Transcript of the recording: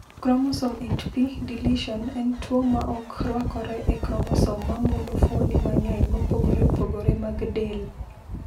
"Kromosom 8p deletion en tuwo ma ok rwakore e kromosom ma mulo fuoni mang’eny mopogore opogore mag del."